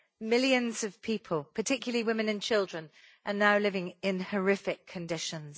Millions of people, particularly women and children, are now living in horrific conditions.